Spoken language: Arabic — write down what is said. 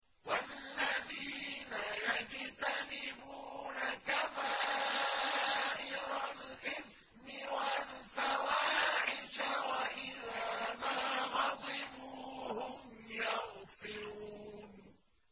وَالَّذِينَ يَجْتَنِبُونَ كَبَائِرَ الْإِثْمِ وَالْفَوَاحِشَ وَإِذَا مَا غَضِبُوا هُمْ يَغْفِرُونَ